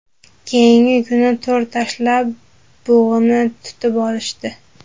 Keyingi kuni to‘r tashlab bug‘uni tutib olishdi.